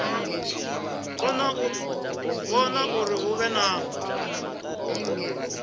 vhona uri hu vhe na